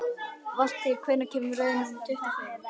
Valtýr, hvenær kemur leið númer tuttugu og fimm?